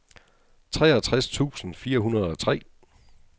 treogtres tusind fire hundrede og tre